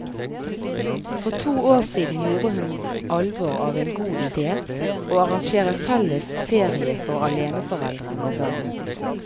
For to år siden gjorde hun alvor av en god idé, å arrangere felles ferie for aleneforeldre med barn.